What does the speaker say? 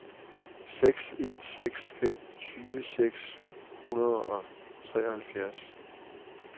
seks en seks fem tyve seks hundrede og treoghalvfjerds